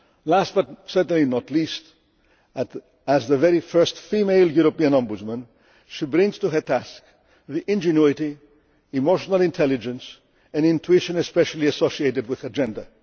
Last, but certainly not least, as the very first female European Ombudsman, she brings to her task the ingenuity, emotional intelligence and intuition especially associated with her gender.